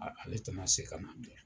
Ale tɛna se ka na bilen.